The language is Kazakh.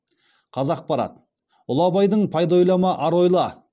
қазақпарат ұлы абайдың пайда ойлама ар ойла